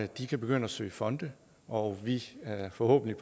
de kan begynde at søge fonde og at vi forhåbentlig